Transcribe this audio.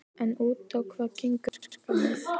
En út á hvað gengur verkefnið?